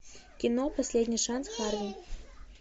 кино последний шанс харви